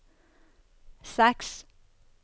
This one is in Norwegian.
seks